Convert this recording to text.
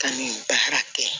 Ka n'i da hɛrɛ kɛ